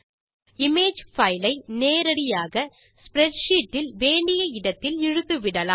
image file ஐ நேரடியாக spreadsheet இல் வேண்டிய இடத்தில் இழுத்துவிடலாம்